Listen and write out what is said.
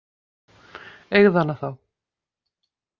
Eigðu hana þá.